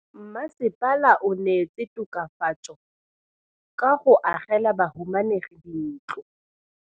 Mmasepala o neetse tokafatsô ka go agela bahumanegi dintlo.